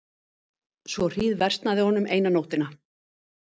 Svo hríðversnaði honum eina nóttina.